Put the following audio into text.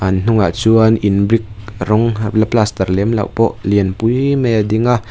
an hnung ah chuan in brick rawng la plastar lem loh pawh lian pui mai a ding a.